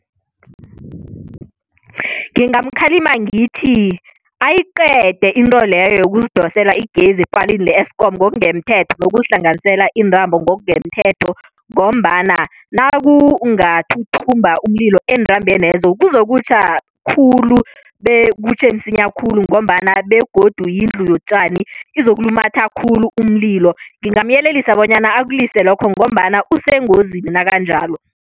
Ngingamkhalima ngithi ayiqede into leyo yekuzidosela igezi epalini le-Eeskom ngokungemthetho nokuzihlanganisela iintambo ngokungemthetho ngombana nakungathuthumba umlilo eentambenezo kuzokutjha khulu bekutjhe msinya khulu ngombana begodu yindlu yotjani, izokulumatha khulu umlilo. Ngingamyelelisa bonyana akulise lokho ngombana usengozini nakanjalo.